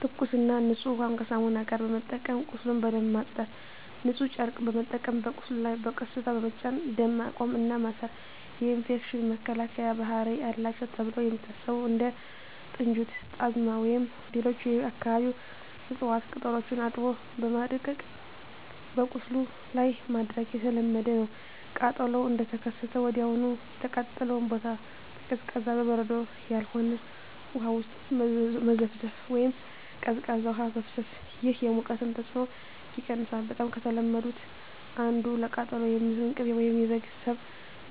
ትኩስና ንጹህ ውሃን ከሳሙና ጋር በመጠቀም ቁስሉን በደንብ ማጽዳት። ንጹህ ጨርቅ በመጠቀም በቁስሉ ላይ በቀስታ በመጫን ደም ማቆም እና ማሰር። የኢንፌክሽን መከላከያ ባህሪ አላቸው ተብለው የሚታሰቡ እንደ ጥንጁት፣ ጣዝማ ወይም ሌሎች የአካባቢው እፅዋት ቅጠሎችን አጥቦ በማድቀቅ በቁስሉ ላይ ማድረግ የተለመደ ነው። ቃጠሎው እንደተከሰተ ወዲያውኑ የተቃጠለውን ቦታ በቀዝቃዛ (በበረዶ ያልሆነ) ውሃ ውስጥ መዘፍዘፍ ወይም ቀዝቃዛ ውሃ ማፍሰስ። ይህ የሙቀቱን ተጽዕኖ ይቀንሳል። በጣም ከተለመዱት አንዱ ለቃጠሎ የሚሆን ቅቤ ወይም የበግ ስብ